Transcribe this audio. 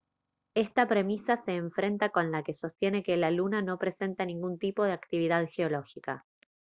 esta premisa se enfrenta con la que sostiene que la luna no presenta ningún tipo de actividad geológica